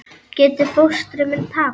Getur fóstri minn tapað?